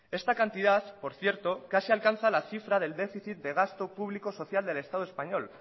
esta cantidad por cierto casi alcanza la cifra del déficit de gasto público social del estado español